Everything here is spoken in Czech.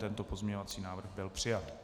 Tento pozměňovací návrh byl přijat.